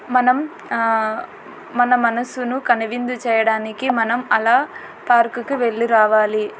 మనం ఆ మన మనసును కనువిందు చేయడానికి మనం అలా పార్కు కి వెళ్లి రావాలి.